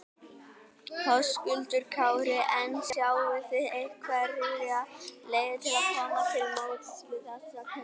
Höskuldur Kári: En sjáið þið einhverjar leiðir til að koma til móts við þessa kaupmenn?